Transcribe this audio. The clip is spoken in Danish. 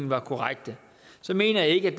var korrekte mener jeg ikke at